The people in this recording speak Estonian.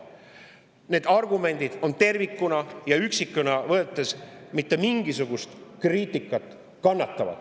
Need argumendid ei kannata ei tervikuna ega üksikuna võttes mitte mingisugust kriitikat.